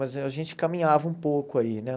Mas a gente caminhava um pouco aí, né?